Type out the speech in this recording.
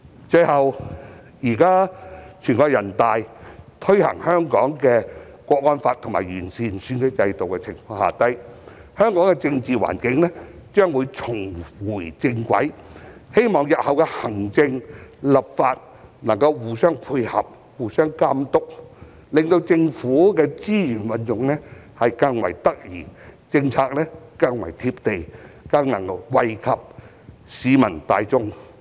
最後，現在全國人民代表大會已在香港推行《中華人民共和國香港特別行政區維護國家安全法》和完善選舉制度，香港的政治環境將會重回正軌，希望日後行政和立法能夠互相配合、互相監督，令政府的資源運用更為得宜，政府更為"貼地"，更能惠及市民大眾。